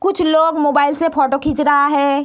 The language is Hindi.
कुछ लोग मोबाइल से फोटो खींच रहा है।